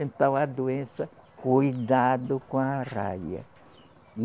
Então, a doença, cuidado com a arraia.